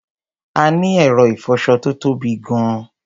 A ní ẹ̀rọ ìfọṣọ tó tóbi gan-an.